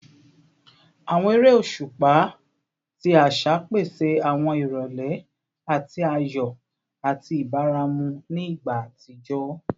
Awọn ere oṣupa ti aṣa pese awọn irọlẹ ti ayọ ati ibaramu ni igba atijọ